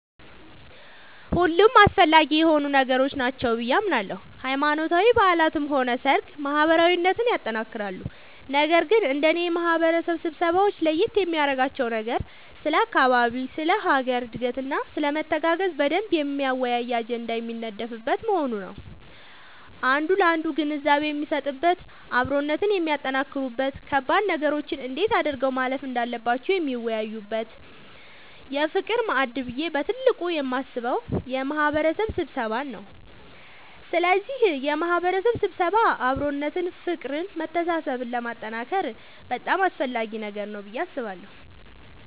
ሁሉም አስፈላጊ የሆኑ ነገሮች ናቸው ብዬ አምናለሁ ሃይማኖታዊ በዓላትም ሆነ ሰርግ ማህበራዊነትን ያጠነክራሉ ነገር ግን እንደኔ የማህበረሰብ ስብሰባወች ለየት የሚያደርጋቸው ነገር ስለ አካባቢ ስለ ሀገር እድገትና ስለመተጋገዝ በደንብ የሚያወያይ አጀንዳ የሚነደፍበት መሆኑ ነዉ አንዱ ላንዱ ግንዛቤ የሚሰጥበት አብሮነትን የሚያጠነክሩበት ከባድ ነገሮችን እንዴት አድርገው ማለፍ እንዳለባቸው የሚወያዩበት የፍቅር ማዕድ ብዬ በትልቁ የማስበው የማህበረሰብ ስብሰባን ነዉ ስለዚህ የማህበረሰብ ስብሰባ አብሮነትን ፍቅርን መተሳሰብን ለማጠንከር በጣም አስፈላጊ ነገር ነዉ ብዬ አስባለሁ።